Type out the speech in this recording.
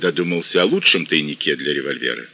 задумался о лучшем тайнике для револьвера